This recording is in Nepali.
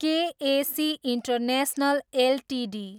के ए सी इन्टरनेसनल एलटिडी